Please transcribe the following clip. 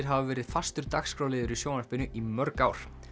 hafa verið fastur dagskrárliður í sjónvarpinu í mörg ár